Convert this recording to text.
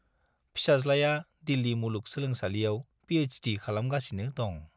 फिसाज्लाया दिल्ली मुलुग सोलोंसालियाव पिएइचडि खालामगासिनो दं।